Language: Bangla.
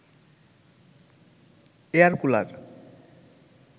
air cooler